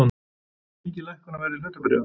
Mikil lækkun á verði hlutabréfa